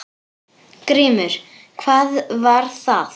GRÍMUR: Hvað var það?